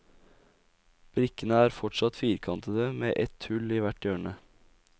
Brikkene er forsatt firkantete med ett hull i hvert hjørne.